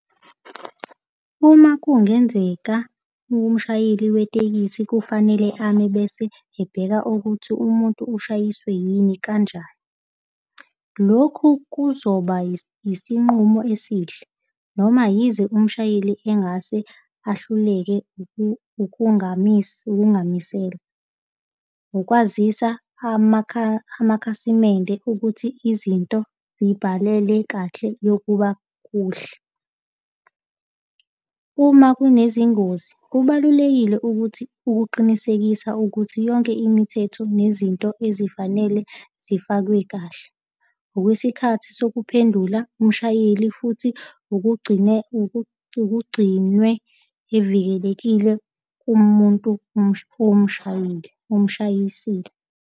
Uma kungenzeka umshayeli wetekisi kufanele ame bese ebheka ukuthi umuntu ushayiswe yini, kanjani. Lokhu kuzoba isinqumo esihle, noma yize umshayeli engase ahluleke ukungamisi, ukungamisela. Ukwazisa amakhasimende ukuthi izinto zibhalele kahle yokuba kuhle. Uma kunezingozi kubalulekile ukuthi ukuqinisekisa ukuthi yonke imithetho nezinto ezifanele zifakwe kahle. Ngokwesikhathi sokuphendula umshayeli futhi ukugcine ukugcinwe evikelekile kumuntu umshayile, omshayisile.